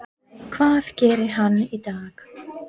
Hvað gerir hann í dag?